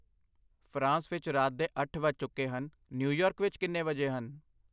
France ਵਿੱਚ ਰਾਤ ਦੇ ਅੱਠ ਵੱਜ ਚੁੱਕੇ ਹਨ, ਨਿਊਯਾਰਕ ਵਿੱਚ ਕਿੰਨੇ ਵਜੇ ਹਨ?